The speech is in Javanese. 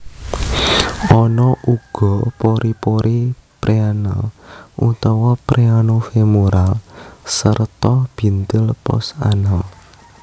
Ana uga pori pori preanal utawa preano femoral sarta bintil post anal